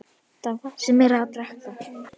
Edda fær sér meira að drekka.